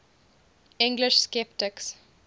english sceptics